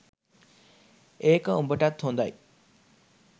ඒක උඹටත් හොදයි